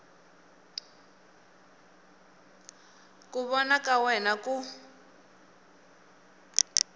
ku vona ka wena ku